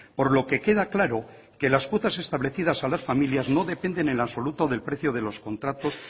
por lo que queda claro que las cuotas establecidas a las familias no dependen en absoluto del precio de los contratos